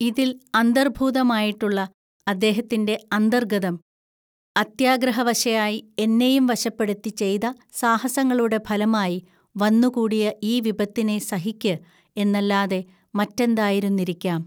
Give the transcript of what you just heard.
ഇതിൽ അന്തർഭൂതമായിട്ടുള്ള അദ്ദേഹത്തിൻ്റെ അന്തർഗ്ഗതം, അത്യാഗ്രഹവശയായി എന്നെയും വശപ്പെടുത്തിചെയ്ത സാഹസങ്ങളുടെ ഫലമായി വന്നുകൂടിയ ഈ വിപത്തിനെ സഹിക്ക് എന്നല്ലാതെ മറ്റെന്തായിരുന്നിരിക്കാം.